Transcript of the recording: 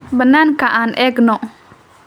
Banaanka aan eegno.